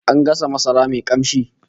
An gasa masara mai kamshi